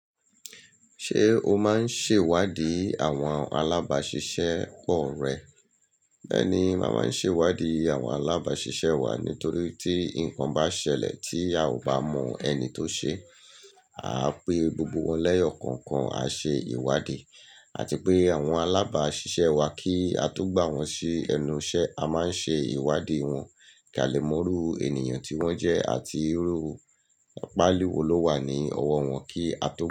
Ṣé o máa ń ṣèwádìí àwọn alábaáṣiṣẹ́ pọ̀ rẹ? Bẹ́ẹ̀ni, mà máa ń ṣè iwádìí àwọn alábáaṣiṣẹ́ wa nítorí tí ǹkan bá ṣẹlẹ̀ tí a ò bá mọ ẹni tó ṣe, aá pè gbogbo wọn lẹ̀yọ̀kọ̀ọ̀kan a ṣe ìwádìí. Àti pé àwọn alábaáṣiṣẹ́ wa kí a tó gbà wọ́n sí ẹnu iṣẹ́, a máa ń ṣe ìwádìí wọn, kí a lè mọ irú ènìyàn tí wọ́n jẹ́ àti irú páali wò ló wà ní ọwọ́ wọn kí a tó.